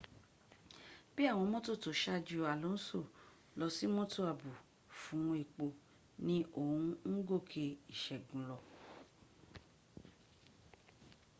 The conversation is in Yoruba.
bí àwọn mótò tó ṣájú alonso lọsí mọ́tò àbò fún epo ni oun ń gòkè ìṣẹ́gun lọ